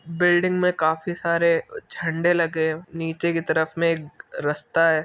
Building में काफी सारे झंडे लगे। नीचे की तरफ में एक रस्ता है।